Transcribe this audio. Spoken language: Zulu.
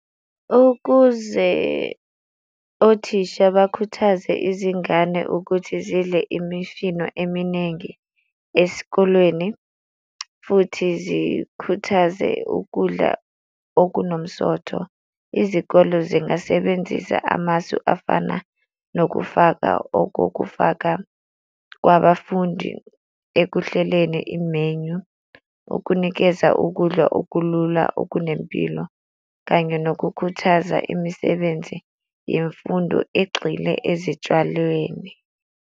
Ukuze othisha bakhuthaze izingane ukuthi zidle imifino eminingi esikolweni, futhi zikhuthaze ukudla okunomsotho. Izikole zingasebenzisa amasu afana nokufaka okokufaka kwabafundi ekuhleleni i-menu, ukunikeza ukudla okulula okunempilo kanye nokukhuthaza imisebenzi yemfundo egxile ezitshalweni.